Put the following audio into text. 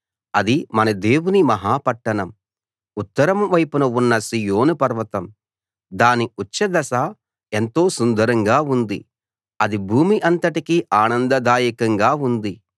అది మన దేవుని మహా పట్టణం ఉత్తరం వైపున ఉన్న సీయోను పర్వతం దాని ఉచ్ఛ దశ ఎంతో సుందరంగా ఉంది అది భూమి అంతటికీ ఆనందదాయకంగా ఉంది